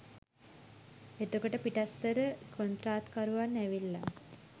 එතකොට පිටස්තර කොන්ත්‍රාත්කරුවන් ඇවිල්ලා